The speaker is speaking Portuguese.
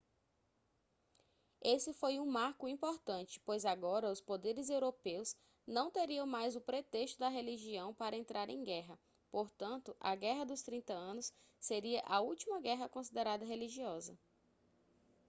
esse foi um marco importante pois agora os poderes europeus não teriam mais o pretexto da religião para entrar em guerra portanto a guerra dos trinta anos seria a última guerra considerada religiosa